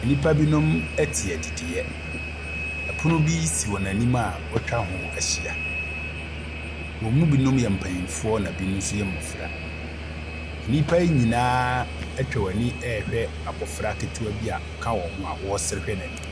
Nnipa binom te adidiɛ. Ɛpono bi si wɔn anim a wɔatwa ho ahyia. Wɔn mu binom yɛ mpanimfoɔ na bi nso yɛ mmofra. Nnipa nyinaa atwa wɔn ani rehwɛ abofra ketewa bi a ɔka wɔn ho a wɔresere hwɛ n'anim.